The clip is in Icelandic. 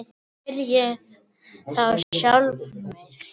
spyr ég þá sjálfan mig.